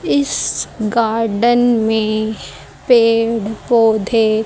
इस गार्डन में पेड़ पौधे--